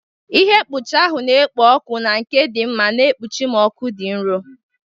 Ihe mkpuchi ahụ na-ekpo ọkụ na nke dị mma na-ekpuchi m n'ọkụ dị nro.